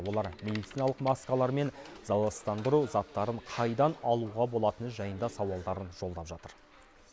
олар медициналық маскалар мен залалсыздандыру заттарын қайдан алуға болатыны жайында сауалдарын жолдап жатыр